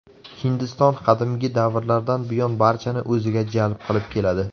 Hindiston qadimgi davrlardan buyon barchani o‘ziga jalb qilib keladi.